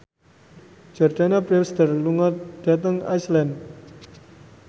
Jordana Brewster lunga dhateng Iceland